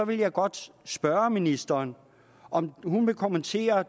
vil jeg godt spørge ministeren om hun vil kommentere